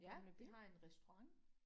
Ja de har en restaurant